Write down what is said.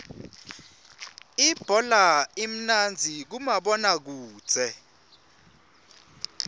ibhola imnandzi kumabona kudze